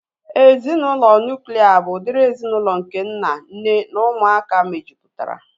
Ezinaụlọ nuklia bụ udiri ezinaụlọ nke nna, nne na ụmụaka mejupụtara